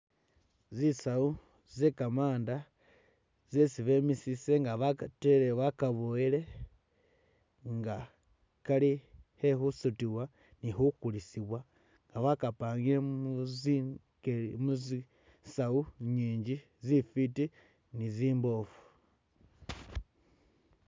Zisawu ze gamanda zesi bemisise nga bakatele bakaboyele nga kali ke khusutibwa ni khukulisibwa nga bakapangile mu zi ge muzisawu nyinji zifwiti ni zimboofu